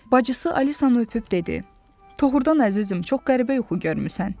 Bacısı Alisanı öpüb dedi: Doğrudan əzizim, çox qəribə yuxu görmüsən.